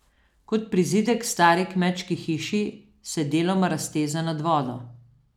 Kot prizidek k stari kmečki hiši se deloma razteza nad vodo.